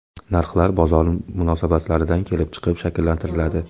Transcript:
Narxlar bozor munosabatlaridan kelib chiqib shakllantiriladi.